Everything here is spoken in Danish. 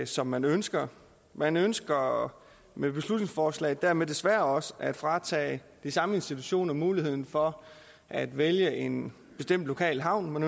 som man ønsker man ønsker med beslutningsforslaget dermed desværre også at fratage de samme institutioner muligheden for at vælge en bestemt lokal havn